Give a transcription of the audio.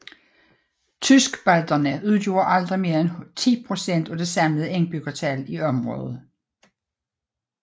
Tyskbalterne udgjorde aldrig mere end 10 procent af det samlede indbyggertal i området